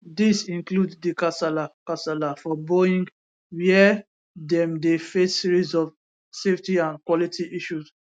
dis include di kasala kasala for boeing wia dem dey face series of safety and quality issues